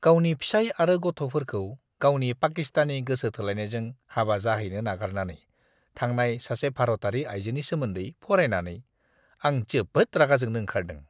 गावनि फिसाय आरो गथ'फोरखौ गावनि पाकिस्तानी गोसो थोनायजों हाबा जाहैनो नागारनानै थांनाय सासे भारतारि आयजोनि सोमोन्दै फरायनानै, आं जोबोद रागा जोंनो ओंखारदों!